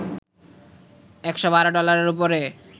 ১১২ ডলারের ওপরে